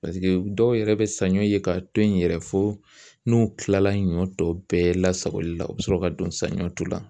dɔw yɛrɛ bɛ saɲɔ ye k'a to yen yɛrɛ fo n'u kilala nɔn tɔ bɛɛ lasagoli la u bɛ sɔrɔ ka don sa ɲɔtɔ la